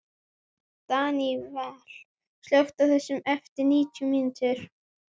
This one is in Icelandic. Daníval, slökktu á þessu eftir nítján mínútur.